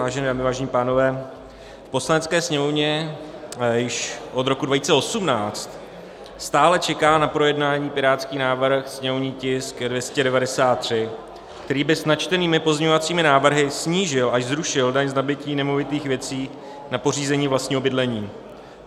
Vážené dámy, vážení pánové, v Poslanecké sněmovně již od roku 2018 stále čeká na projednání pirátský návrh, sněmovní tisk 293, který by s načtenými pozměňovacími návrhy snížil, až zrušil daň z nabytí nemovitých věcí na pořízení vlastního bydlení.